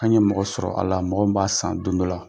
An ye mɔgɔ sɔrɔ a la mɔgɔ min b'a san don dɔ la.